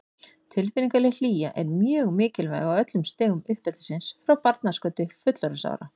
Tilfinningaleg hlýja er mjög mikilvæg á öllum stigum uppeldisins, frá barnæsku til fullorðinsára.